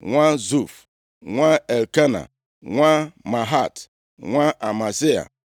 nwa Zuf, nwa Elkena, nwa Mahat, nwa Amasai,